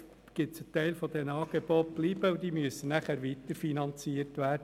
Ein Teil dieser Angebote bleibt und muss weiter finanziert werden.